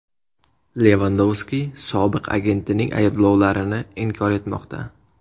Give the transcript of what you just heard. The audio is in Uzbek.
Levandovski sobiq agentining ayblovlarini inkor etmoqda.